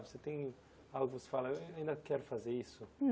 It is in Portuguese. Você tem algo que você fala, eh eu ainda quero fazer isso?